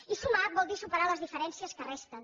i sumar vol dir superar les diferències que resten